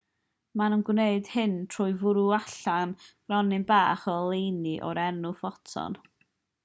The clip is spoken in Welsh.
maen nhw'n gwneud hyn trwy fwrw allan gronyn bach o oleuni o'r enw ffoton